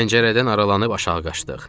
Pəncərədən aralanıb aşağı qaçdıq.